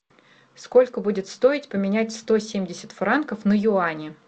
сколько будет стоить поменять сто семьдесят франков на юани